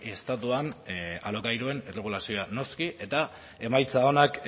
estatuan alokairuen erregulazioa noski eta emaitza onak